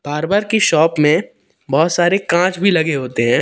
Barber की shop में बहुत सारे कांच भी लगे होते हैं।